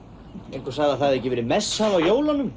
einhver sagði að það hefði ekki verið messað á jólunum